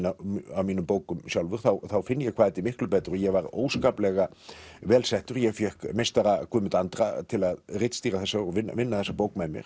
af mínum bókum sjálfum þá finn ég hvað þetta er miklu betra ég var óskaplega vel settur ég fékk meistara Guðmund Andra til að ritstýra þessu og vinna þessa bók með mér